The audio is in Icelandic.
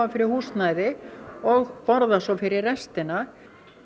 fyrir húsnæði og borða svo fyrir restina